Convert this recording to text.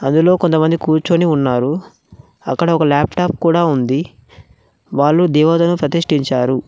అందులో కొంతమంది కూర్చొని ఉన్నారు అక్కడ ఒక లాప్టాప్ కూడా ఉంది వాళ్ళు దేవాదయం సతిష్టించారు .